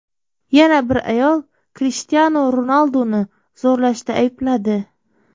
Yana bir ayol Krishtianu Ronalduni zo‘rlashda aybladi.